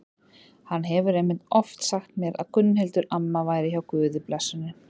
Hann hefur einmitt oft sagt mér að Gunnhildur amma væri hjá Guði blessunin.